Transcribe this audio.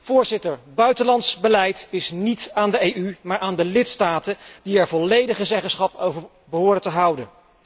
Voorzitter, buitenlands beleid is geen zaak van de EU, maar van de lidstaten, die er volledige zeggenschap over behoren te houden.